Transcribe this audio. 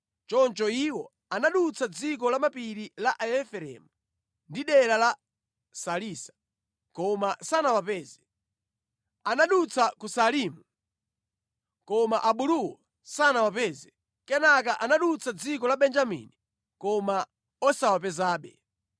Choncho iwo anadutsa dziko la mapiri a Efereimu ndi dera la Salisa, koma sanawapeze. Anadutsa ku Saalimu koma abuluwo sanawapeze. Kenaka anadutsa dziko la Benjamini, koma osawapezabe.